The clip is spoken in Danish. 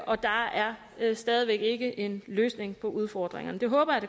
og der er stadig væk ikke en løsning på udfordringerne det håber jeg